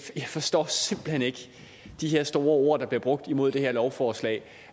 jeg forstår simpelt hen ikke de her store ord der bliver brugt imod det her lovforslag